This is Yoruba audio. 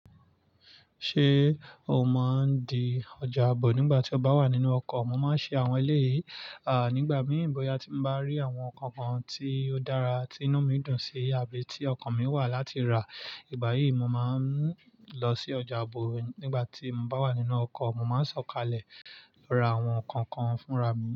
Ṣé o máa ń di ọjà ààbò nígbà tí o bá wà nínú ọkọ̀? Mo máa ń ṣe àwọn eléyìí, à, nígbà mìíràn bóyá tí mo bá rí àwọn nǹkan kan tí ó dára tí inú mi dùn sí àbí tí ọkàn mi wà láti rà, ìgbà yìí mo máa ń lọ sí ọjà ààbò. Nígbà tí mo bá wà nínú ọkọ̀, mo máa ń sọ̀kalẹ̀ ra àwọn nǹkan kan fúnra mi.